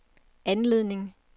anledning